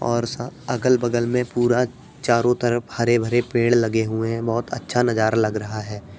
और सा अगल बगल में पूरा चारों तरफ हरे-भरे पेड़ लगे हुए हैं। बहुत अच्छा नजारा लग रहा है।